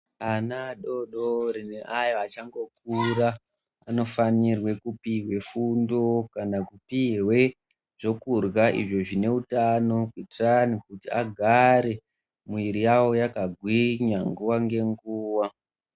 Ana adodori neayo achangokura vanofanire kupihwe fundo kana kupihwe zvokurya izvo zvine utano kuitani kuti agare mwiri yawo yakagwinya nguwa ngenguwa.